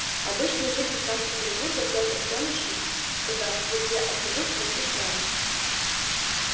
обычный житель санкт-петербурга пётр пёночкин скажите а если я откажусь пройти с вами